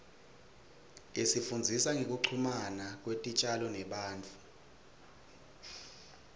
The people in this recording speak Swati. isifundzisa ngekuchumana kwetitjalo nebantfu